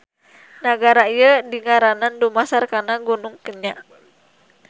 Nagara ieu dingaranan dumasar kana Gunung Kenya.